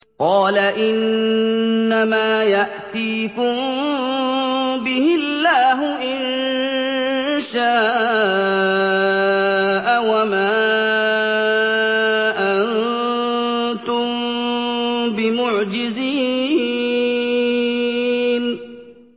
قَالَ إِنَّمَا يَأْتِيكُم بِهِ اللَّهُ إِن شَاءَ وَمَا أَنتُم بِمُعْجِزِينَ